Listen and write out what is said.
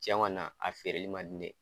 Cɛn kɔni na a feereli ma di ne ye.